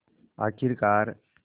आख़िरकार